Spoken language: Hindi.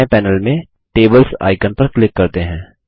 बाएं पैनल में टेबल्स आइकन पर क्लिक करते हैं